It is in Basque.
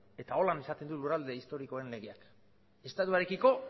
eta horrela esaten du lurralde historikoen legeak estatuarekiko